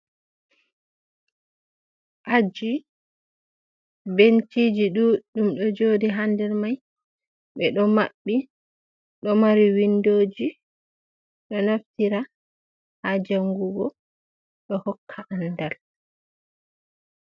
Aji benciji ɗuɗɗum ɗo joɗi, ha nder mai ɓe ɗo mabbi, ɗo mari windoji, ɗo naftira ha jangugo do hokka andal.